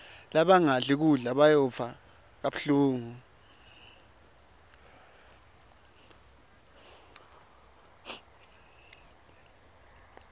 labangadli kudla bayondza kabuhlungu